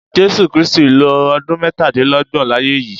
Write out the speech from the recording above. Jésú Krìstí ló ọdùn mètálélọgbọn láyè yi